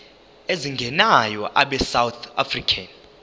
ezingenayo abesouth african